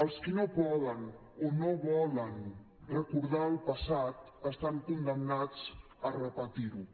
els qui no poden o no volen recordar el passat estan condemnats a repetir ho